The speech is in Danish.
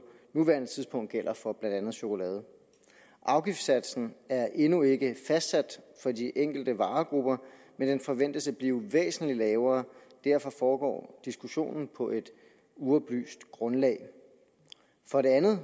nuværende tidspunkt gælder for blandt andet chokolade afgiftssatsen er endnu ikke fastsat for de enkelte varegrupper men den forventes at blive væsentlig lavere og derfor foregår diskussionen på et uoplyst grundlag for det andet